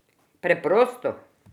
Preprosto?